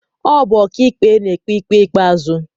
Ọ bụ ọkaikpe na-ekpe ikpe ikpeazụ